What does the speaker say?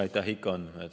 Aitäh!